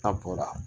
N'a bɔra